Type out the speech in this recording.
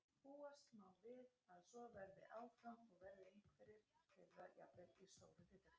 Má búast við að svo verði áfram og verða einhverjir þeirra jafnvel í stóru hlutverki?